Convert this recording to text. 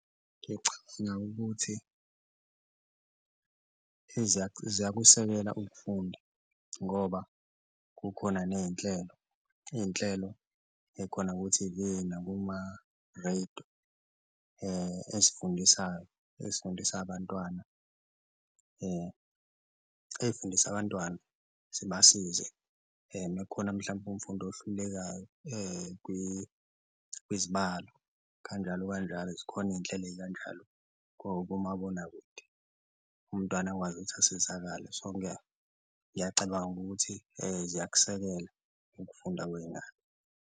Ngicabanga ukuthi ziyakusekela ukufunda ngoba kukhona ney'nhlelo iy'nhlelo ekhona ku-T_V nakuma-radio ezifundisayo ezifundisa abantwana, ey'fundisa abantwana zibasize uma kukhona mhlampe umfundi ohlulekayo kwizibalo kanjalo kanjalo zikhona iy'nhlelo ey'kanjalo komabonakude, umntwana akwazi ukuthi asizakale. So, ngiyacabanga ukuthi ziyakusekela ukufunda kwey'ngane.